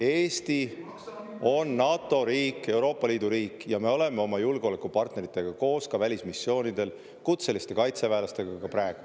Eesti on NATO riik, Euroopa Liidu riik ja me oleme oma julgeolekupartneritega koos ka välismissioonidel kutseliste kaitseväelastega ka praegu.